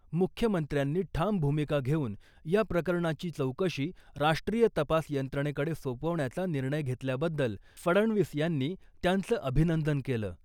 मुख्यमंत्र्यांनी ठाम भूमिका घेऊन या प्रकरणाची चौकशी राष्ट्रीय तपास यंत्रणेकडे सोपवण्याचा निर्णय घेतल्याबद्दल फडणवीस यांनी त्यांचं अभिनंदन केलं .